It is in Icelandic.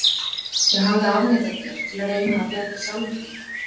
Ég hafði afneitað þér, til að reyna að bjarga sjálfum mér.